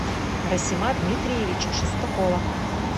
расима дмитриевича шестакова